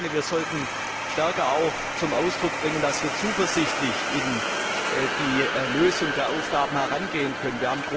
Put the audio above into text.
Wir sollten stärker zum Ausdruck bringen, dass wir zuversichtlich an die Lösung der Aufgaben herangehen können.